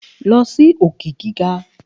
A lọ si òkè gíga.